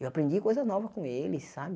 Eu aprendi coisas novas com eles, sabe?